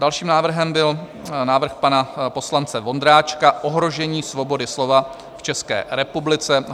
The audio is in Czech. Dalším návrhem byl návrh pana poslance Vondráčka - ohrožení svobody slova v České republice.